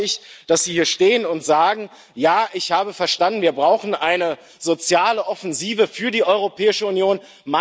Da erwarte ich, dass Sie hier stehen und sagen Ja, ich habe verstanden, wir brauchen eine soziale Offensive für die Europäische Union.